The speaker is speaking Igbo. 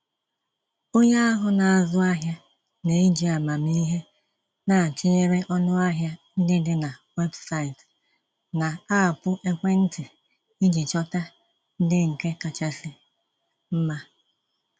Onye ahụ na-azụ ahịa n'eji amamihe na-atụnyere ọnụahịa ndị dị na websaịtị na aapụ ekwentị iji chọta ndị nke kachasị mma.